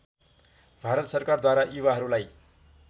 भारत सरकारद्वारा युवाहरूलाई